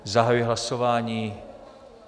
Zahajuji hlasování.